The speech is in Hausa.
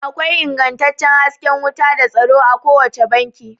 Akwai ingantaccen hasken wuta da tsaro a kowace banki